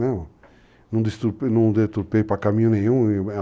Não deturpei para caminho nenhum.